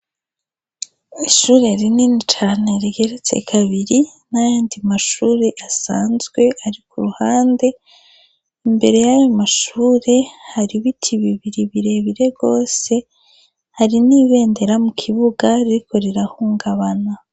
Ishure rinini cane rigeretse kabiri, n'ayandi mashure asanzwe ari ku ruhande. Imbere y'ayo mashure hari ibiti bibiri birebire rwose, hari n'ibendera mu kibuga ririko rirahungabana.